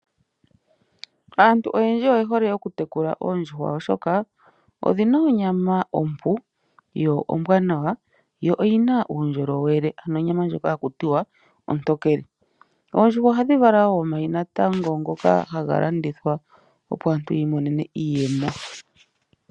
Aantu oyendji oye hole okutekula oondjuhwa oshoka odhina onyama ompu yo ombwanawa yo oyina uundjolowele ano onyama ndjoka haku tiwa ontokele. Oondjuhwa ohadhi vala wo omayi natango ngoka haga landithwa opo aantu yi imonene iiyemo.